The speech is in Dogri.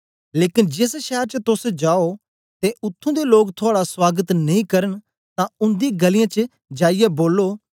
लेकन जेस शैर च तोस जाओ ते उत्त्थुं दे लोक थुआड़ा सुआगत नेई करन तां उन्दी गलीयें च जाईयै बोलो